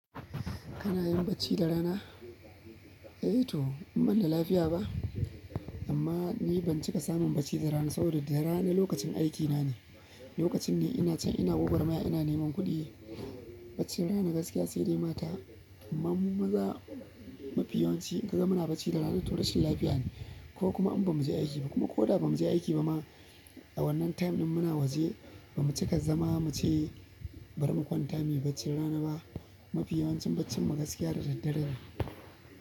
Kana yin bacci da rana? A to, in banda lafiya ba. Amma ni ban cika samun bacci da rana ba saboda rana lokacin aikina ne, lokacin ni ina can ina gwagwarmaya, ina neman kuɗi. Baccin rana gaskiya sai dai mata amma mu maza mafi yawanci in kaga muna bacci da rana to rashin lafiya ne kokuma in bamu je aiki ba kuma koda ba muje aiki ba ma a wannan time ɗin muna waje ba mu cika zama mu ce bari mu kwanta muyi baccin rana ba. Mafi yawancin baccin mu gaskiya da daddare ne.